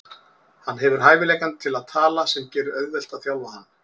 Hann hefur hæfileikann til að tala sem gerir auðvelt að þjálfa hann.